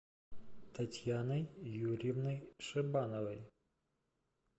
татьяной юрьевной шибановой